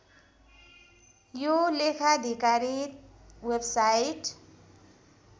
यो लेखाधिकारित वेबसाइट